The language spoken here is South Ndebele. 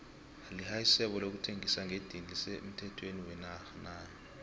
lihaisebo lokuthengisa ngedini lise mthhethweni wenatha na